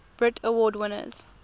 brit award winners